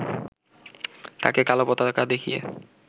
তাকে কালো পতাকা দেখিয়ে